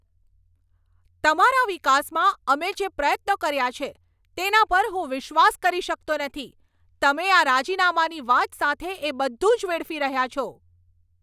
તમારા વિકાસમાં અમે જે પ્રયત્નો કર્યા છે તેના પર હું વિશ્વાસ કરી શકતો નથી, તમે આ રાજીનામાની વાત સાથે એ બધું જ વેડફી રહ્યા છો.